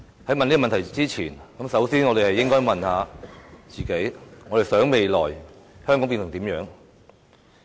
在問這問題之前，我們首先應該問問自己：我們想香港未來變成怎樣？